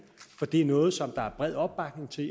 er noget som der er bred opbakning til